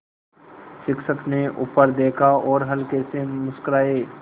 शिक्षक ने ऊपर देखा और हल्के से मुस्कराये